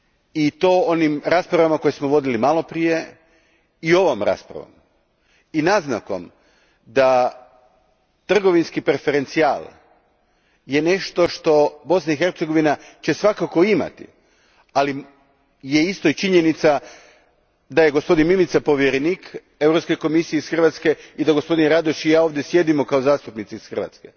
I to onim raspravama koje smo vodili maloprije i ovom raspravom i naznakom da je trgovinski preferencijal nešto što će Bosna i Hercegovina svakako imati, ali je isto i činjenica da je gospodin Mimica povjerenik Europske komisije iz Hrvatske i da gospodin Radoš i ja ovdje sjedimo kao zastupnici iz Hrvatske.